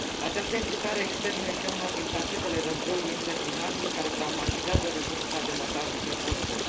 Această implicare externă este una din fațetele războiului interminabil care traumatizează Republica Democratică Congo.